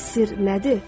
Bəs sir nədir?